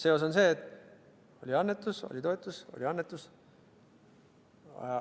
Seos on see, et oli annetus, oli toetus, oli annetus.